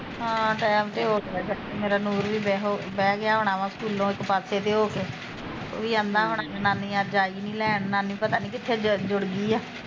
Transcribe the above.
ਹਾਂ ਟੈਮ ਤੇ ਹੋ ਚਲਾ ਮੇਰਾ ਵੀ, ਮੇਰਾ ਨੂਰ ਵੀ ਬਹਿ ਗਿਆ ਹੁਣਾ ਸਕੂਲੋਂ ਇੱਕ ਪਾਸੇ ਜੇ ਹੋਕੇ ਉਹ ਵੀ ਕਹਿਣਦਾ ਹੁਣਾ ਵੀ ਨਾਨੀ ਅੱਜ ਆਈ ਨੀ ਲੈਣ, ਨਨੀ ਪਤਾ ਨੀ ਕਿੱਥੇ ਜੁੜ ਗਈ ਆ